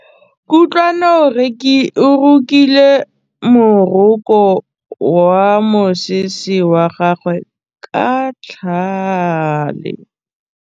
Kutlwanô o rokile morokô wa mosese wa gagwe ka tlhale.